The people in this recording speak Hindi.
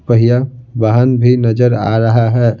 पहिया वाहन भी नजर आ रहा है।